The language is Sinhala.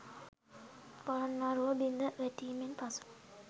පොළොන්නරුව බිඳ වැටීමෙන් පසු